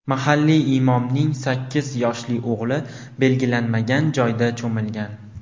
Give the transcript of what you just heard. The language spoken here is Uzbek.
Mahalliy imomning sakkiz yoshli o‘g‘li belgilanmagan joyda cho‘milgan.